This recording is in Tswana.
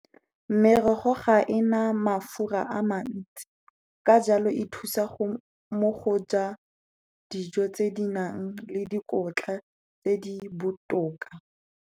Merogo ga ena mafura a mantsi, ka jalo e thusa mo go ja dijo tse di nang le dikotla tse di botoka.